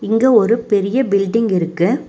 இங்க ஒரு பெரிய பில்டிங் இருக்கு.